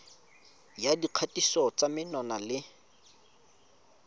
ya dikgatiso tsa menwana le